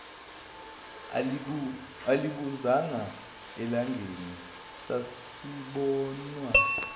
alibuzanga elangeni asisabonwa